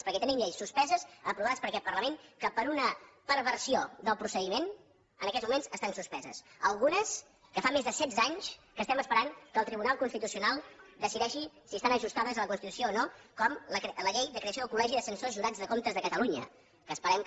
perquè tenim lleis suspeses aprovades per aquest parlament que per una perversió del procediment en aquests moments estan suspeses algunes que fa més de setze anys que estem esperant que el tribunal constitucional decideixi si estan ajustades a la constitució o no com la llei de creació del col·legi de censors jurats de comptes de catalunya que esperem que